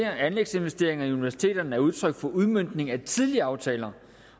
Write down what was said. at anlægsinvesteringerne i universiteterne er udtryk for udmøntning af tidligere aftaler